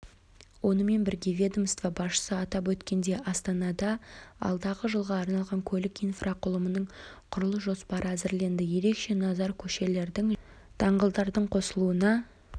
онымен бірге ведомство басшысы атап өткендей астанада алдағы жылға арналған көлік инфрақұрылымының құрылыс жоспары әзірленді ерекше назар көшелердің және даңғылдардың қосылуына